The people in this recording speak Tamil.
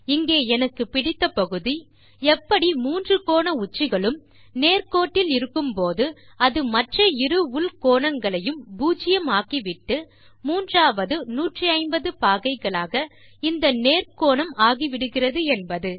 இங்கே எனக்கு பிடித்த பகுதி எப்படி மூன்று கோண உச்சிகளும் நேர் கோட்டில் இருக்கும் போது அது மற்ற இரு உள் கோணங்களையும் பூஜ்யம் ஆக்கிவிட்டு மூன்றாவது 180 பாகைகளாக இந்த நேர் கோணம் ஆகிவிடுகிறது என்பது